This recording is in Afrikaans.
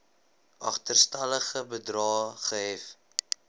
agterstallige bedrae gehef